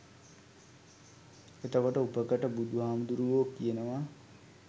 එතකොට උපකට බුදුහාමුදුරුවො කියනවා